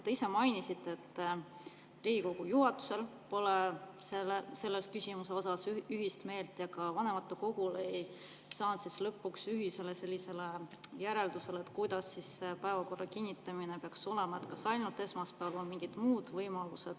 Te ise mainisite, et Riigikogu juhatusel pole selles küsimuses ühist meelt ja ka vanematekogus ei ühisele järeldusele, kuidas päevakorra kinnitamine peaks, kas ainult esmaspäeval või on ka mingi muu võimalus.